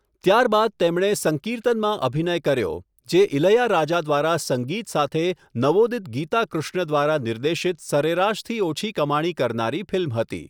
ત્યારબાદ તેમણે 'સંકીર્તન'માં અભિનય કર્યો, જે ઇલૈયારાજા દ્વારા સંગીત સાથે નવોદિત ગીતા કૃષ્ણ દ્વારા નિર્દેશિત સરેરાશથી ઓછી કમાણી કરનારી ફિલ્મ હતી.